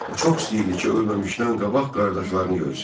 O çox istəyirdi ki, ölməmişdən qabaq qardaşlarını görsün.